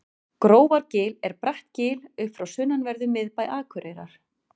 grófargil er bratt gil upp frá sunnanverðum miðbæ akureyrar